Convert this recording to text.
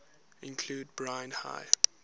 include brine high